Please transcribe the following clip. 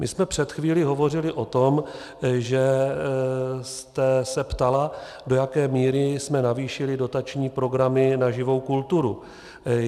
My jsme před chvílí hovořili o tom, že jste se ptala, do jaké míry jsme navýšili dotační programy na živou kulturu.